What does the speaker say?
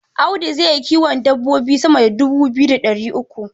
Audu zai yi kiwon dabbobi sama da dubu biyu da ɗari uku.